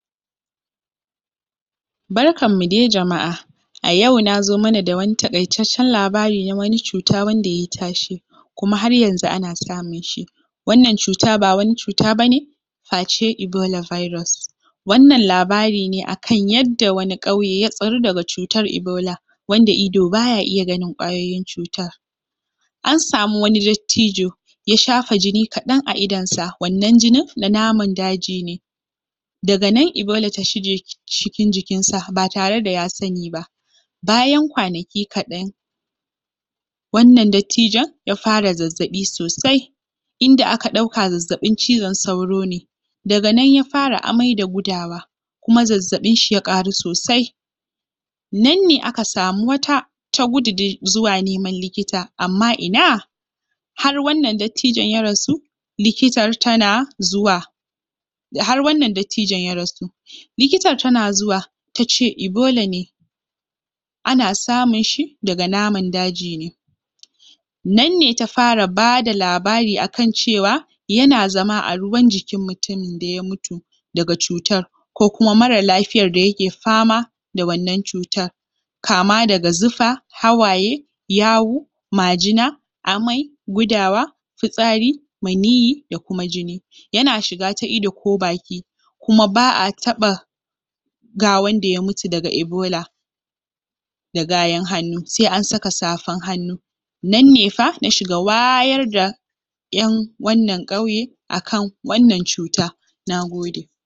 Barkanmu de jama’a a yau na zo mana da wani taƙaitaccen labari na wani cuta wanda ye tashe kuma har yanzu ana samun shi wannan cuta ba wani cuta ba ne face ebola virus, wannan labari ne akan yadda wani ƙauye ya tsaru daga cutar ebola. Wanda ido baya iya ganin ƙwayoyin cutar an samu wani dattijo ya shafa jini kaɗan a idonsa, wannan jinin na naman daji ne daga nan ebola ta shige cikin jikinsa ba tare da ya sani ba bayan kwanaki kaɗan wannan dattijon ya fara zazzaɓi sosai inda aka ɗauka zazzaɓin cizon sauro ne daga nan ya fara amai da gudawa kuma zazzaɓinshi ya ƙaru sosai nan ne aka samu wata ta gudu dai zuwa neman likita, amma ina har wannan dattijon ya rasu likitar tana zuwa har wannan dattijon ya rasu litikar tana zuwa ta ce ebola ne ana samunshi daga naman daji ne nan ne ta fara bada labari akan cewa yana zama a ruwan jikin mutumin da ya mutu daga cutar ko kuma mara lafiyar da yake fama da wannan cutar kama daga zufa hawaye yawu majina amai gudawa fitsari maniyyi da kuma jini yana shiga ta ido ko baki kuma ba a taɓa gawan da ya mutu daga ebola da gayan hannu, sai an saka safan hannu, nan ne fa na shiga wayar da ƴan wannan ƙauye akan wannan cuta, nagode